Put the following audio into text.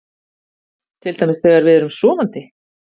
Til dæmis þegar við erum sofandi?